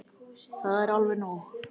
Það er alveg nóg.